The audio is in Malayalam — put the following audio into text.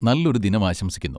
നല്ലൊരു ദിനം ആശംസിക്കുന്നു!